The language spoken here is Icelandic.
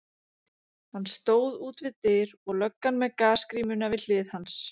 Hann stóð út við dyr og löggan með gasgrímuna við hlið hans.